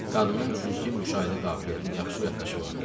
Qadının güclü müşahidə qabiliyyəti, yaxşı yaddaşı vardı.